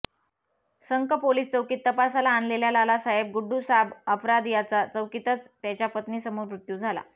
संख पोलीस चौकीत तपासाला आणलेल्या लालासाहेब गुडुसाब अपराध याचा चौकीतच त्याच्या पत्नीसमोर मृत्यू झाला